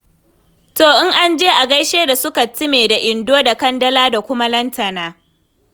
To in an je a gaishe da su Kattime da Indo da Kandala da kuma Lantana.